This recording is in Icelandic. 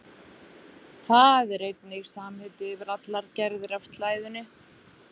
Það er einnig samheiti yfir allar gerðir af slæðunni.